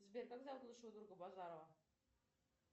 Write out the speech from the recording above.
сбер как зовут лучшего друга базарова